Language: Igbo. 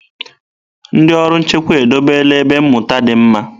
Ndị ọrụ nchekwa edobela ebe mmụta dị mma.